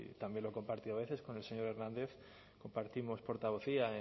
también lo he compartido a veces con el señor hernández compartimos portavocía